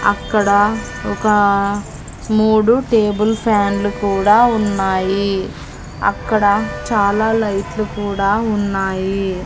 అక్కడ ఒక మూడు టేబుల్ ఫ్యాన్లు కూడా ఉన్నాయి అక్కడ చాలా లైట్లు కూడా ఉన్నాయి.